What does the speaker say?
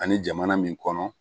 Ani jamana min kɔnɔ